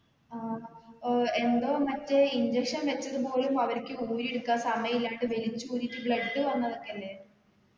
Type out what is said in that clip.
ആ ഏർ എന്തോ മറ്റേ injection വെച്ചത് പോലും അവര്ക്ക് ഊരി എടുക്കാൻ സമയമില്ലാണ്ട് വലിച്ച് ഊരിട്ട് blood വന്നതൊക്കല്ലേ